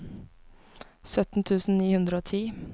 sytten tusen ni hundre og ti